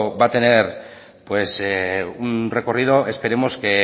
va a tener un recorrido esperemos que